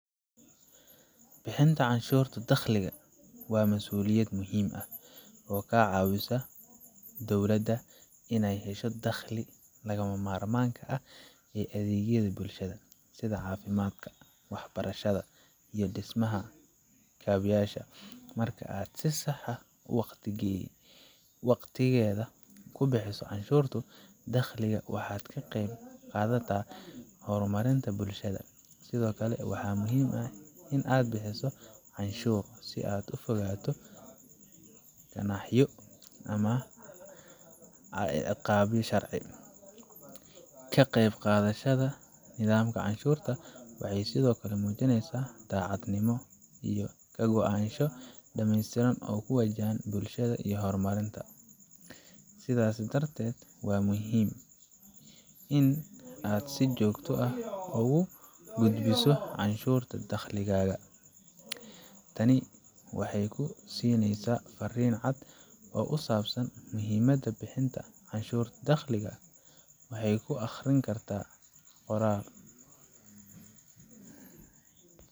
Bixinta canshuurta dakhliga waa mas'uuliyad muhim ah oo ka caawisa dowlada inay hesho dakhliga lagama maarmaanka u ah adeegyada bulshada, sida caafimaadka, waxbarashada, iyo dhismaha kaabayaasha. Marka aad si sax ah oo waqtigeeda ku buuxiso canshuurta dakhliga, waxaad ka qayb qaadata horumarinta bulshadaada. Sidoo kale, waxaa muhiim ah in aad bixiso canshuur si aad uga fogaato ganaaxyo ama ciqaaboyin sharci ah. Ka qayb qaadashada nidaamka canshuurta waxay sidoo kale muujinaysaa daacadnimo iyo ka go'naansho dhamaystiran oo ku wajahan bulshada iyo horumarkeeda. Sidaas darteed, waa muhiim in aad si joogto ah ugu soo gudbiso canshuurtaada dakhliga. Tani waxay ku siineysaa fariin cad oo ku saabsan muhiimadda bixinta canshuurta dakhliga. Waxaay ku akhrin kartaa qoraal.